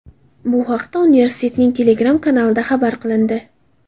Bu haqda universitetning Telegram kanalida xabar qilindi .